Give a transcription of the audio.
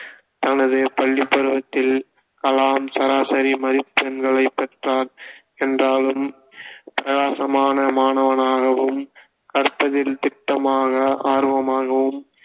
தனது பள்ளிப்பருவத்தில் கலாம் சராசரி மதிப்பெண்களே பெற்றார் என்றாலும் பிரகாசமான மாணவனாகவும் கற்பதில் திட்டமாக ஆர்வமாகவும்